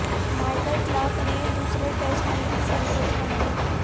Michael Clarke نے دوسرے test میں بھی سنچری بنائی